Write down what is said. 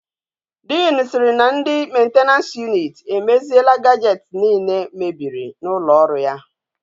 Dean siri na ndi maintenance unit emeziela gajets niile mebiri na ulo oru ya